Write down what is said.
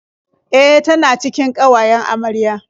E, tana cikin ƙawayen amarya.